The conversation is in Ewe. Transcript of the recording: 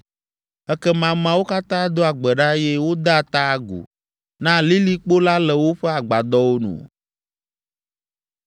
Ekema ameawo katã doa gbe ɖa eye wodea ta agu na lilikpo la le woƒe agbadɔwo nu.